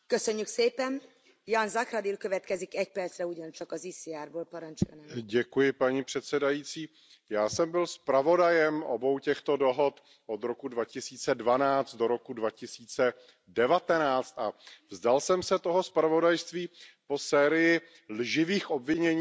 Paní předsedající, já jsem byl zpravodajem obou těchto dohod od roku 2012 do roku 2019 a vzdal jsem se toho zpravodajství po sérii lživých obvinění vůči mé osobě ze strany frakce Zelených, včetně české Pirátské strany